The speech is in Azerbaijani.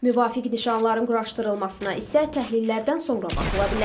Müvafiq nişanların quraşdırılmasına isə təhlillərdən sonra baxıla bilər.